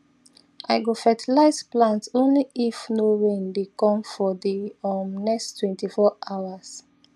i go fertilize plants only if no rain dey come for the um next twentyfour hours